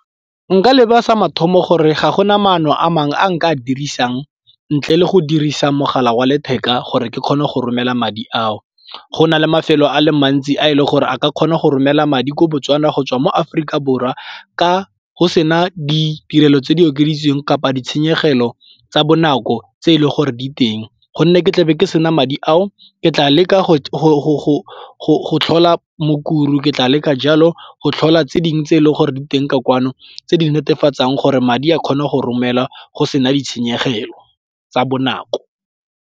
Nka leba sa mathomo gore ga go na maano a mangwe a nka a dirisang ntle le go dirisa mogala wa letheka gore ke kgone go romela madi ao. Go na le mafelo a le mantsi a e leng gore a ka kgona go romela madi kwa Botswana go tswa mo Aforika Borwa ka go sena ditirelo tse di okeditsweng kapa ditshenyegelo tsa bonako tse e leng gore di teng gonne ke tlabe ke sena madi ao ke tla leka go la Mukuru, ke tla le ka jalo go tlhola tse dingwe tse e leng gore di teng ka kwano tse di netefatsang gore madi a kgona go romela go sena ditshenyegelo tsa bonako.